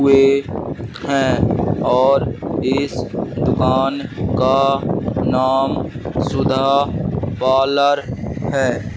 हुए है और इस दुकान का नाम सुधा पार्लर है।